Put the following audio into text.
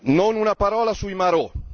Non una parola sui marò.